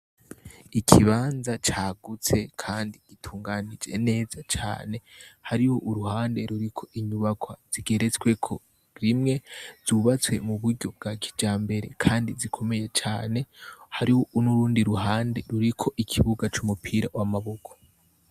Ikibanza c'agutse kandi gitunganije neza cane harih' uruhande rurik' inyubakwa zigeretsweko rimwe, z'ubatswe muburyo bwakijambere kandi zikomeye cane, hariho n' urundi ruhande rurik' ikibuga c' umupira w' amaboko.